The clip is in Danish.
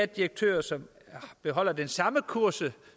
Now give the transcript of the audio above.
direktør som holder den samme kurs